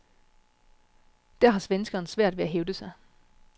Der har svenskeren svært ved at hævde sig.